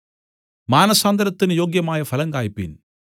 മാനസാന്തരത്തിന് യോഗ്യമായ ഫലം കായ്പിൻ